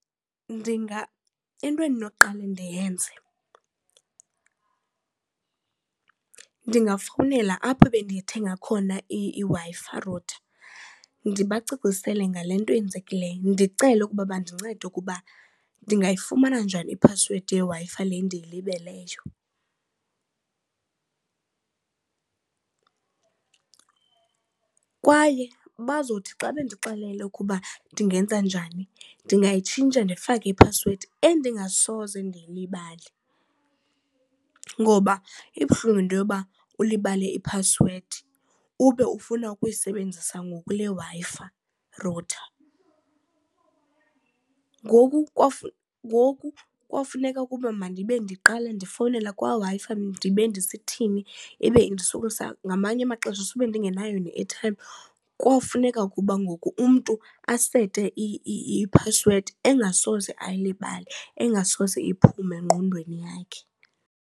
Into endinoqala ndiyenze ndingafowunela apho bendiyithenga khona iWi-Fi router, ndibacacisele ngale nto yenzekileyo ndicele ukuba bandincede ukuba ndingayifumana njani iphasiwedi yeWi-Fi le ndiyilibeleyo. Kwaye bazothi xa bendixelele ukuba ndingenza njani ndingayitshintsha ndifake iphasiwedi endingasoze ndiyilibale ngoba ibuhlungu into yoba ulibale iphasiwedi ube ufuna ukuyisebenzisa ngoku le Wi-Fi router. Ngoku ngoku kofuneka ukuba mandibe ndiqale ndifowunele kwaWi-Fi ndibe ndisithini ibe indisokolisa ngamanye amaxesha sube ndingenayo ne-airtime, kowufuneka ukuba ngoku umntu asete i-password engasoze ayilibale engasoze iphume ngqondweni yakhe.